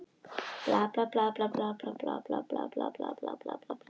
Við því máttu Grikkir ekki enda var Akkilles mestur kappi meðal þeirra.